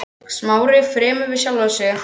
Smári, fremur við sjálfan sig en félaga sinn.